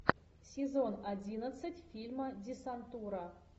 сезон одиннадцать фильма десантура